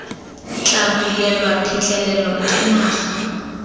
tla bulelwa phitlhelelo ke naga